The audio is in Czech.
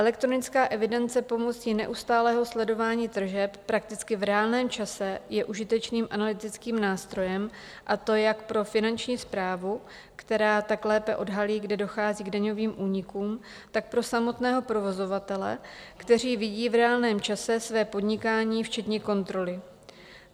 Elektronická evidence pomocí neustálého sledování tržeb prakticky v reálném čase je užitečným analytickým nástrojem, a to jak pro Finanční správu, která tak lépe odhalí, kde dochází k daňovým únikům, tak pro samotného provozovatele, který vidí v reálném čase své podnikání včetně kontroly.